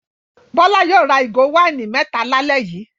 Bọ́lá yóò ra ìgò wáìnì mẹ́ta lálẹ́ yìí!